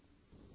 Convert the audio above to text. phone call 3